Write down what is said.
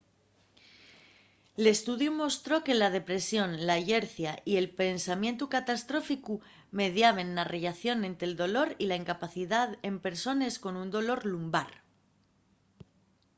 l'estudiu mostró que la depresión la llercia y el pensamientu catastróficu mediaben na relación ente dolor y incapacidá en persones con dolor lumbar